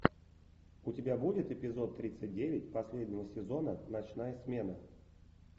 у тебя будет эпизод тридцать девять последнего сезона ночная смена